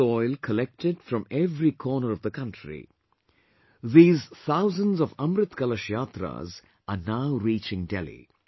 This soil collected from every corner of the country, these thousands of Amrit Kalash Yatras are now reaching Delhi